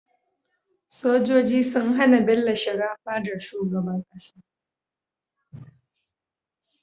Sojoji sun hAna Bello shiga fadar shugaban ƙasa